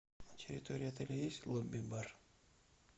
на территории отеля есть лобби бар